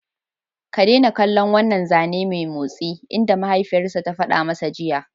Ka daina kallon wannan zane mai motsi!" inda mahaifiyarsa ta fada masa jiya!